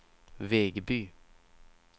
Vegby